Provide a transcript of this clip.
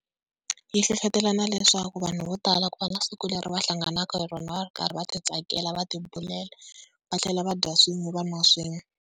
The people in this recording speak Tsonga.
Yi hlohlotelana leswaku vanhu vo tala ku va na siku leri va hlanganaka hi rona va ri karhi va titsakela va tibulela va tlhela va dya swin'we va nwa swin'we.